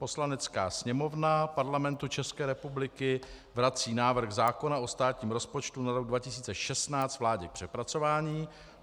Poslanecká sněmovna Parlamentu České republiky vrací návrh zákona o státním rozpočtu na rok 2016 vládě k přepracování.